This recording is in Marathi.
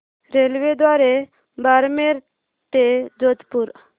रेल्वेद्वारे बारमेर ते जोधपुर